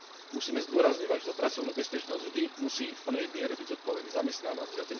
Musíme zdôrazňovať, že za pracovnú bezpečnosť vždy musí v plnej miere byť zodpovedný zamestnávateľ.